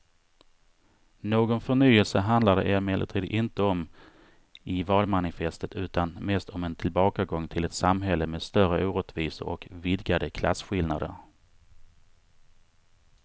Någon förnyelse handlar det emellertid inte om i valmanifestet utan mest om en tillbakagång till ett samhälle med större orättvisor och vidgade klasskillnader.